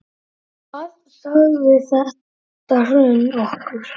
Hvað sagði þetta hrun okkur?